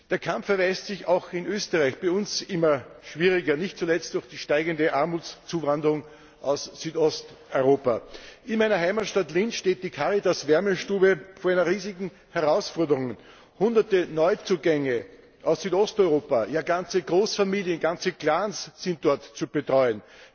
Der Kampf erweist sich auch bei uns in Österreich als immer schwieriger, nicht zuletzt durch die steigende Armutszuwanderung aus Südosteuropa. In meiner Heimatstadt Linz steht die Caritas Wärmestube vor einer riesigen Herausforderung Hunderte Neuzugänge aus Südosteuropa, ja ganze Großfamilien, ganze Clans sind dort zu betreuen.